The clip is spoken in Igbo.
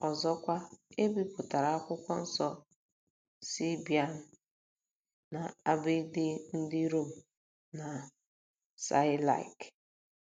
um Ọzọkwa, e bipụtara Akwụkwọ Nsọ Seebian um na abidi ndị Rom na Sịalik.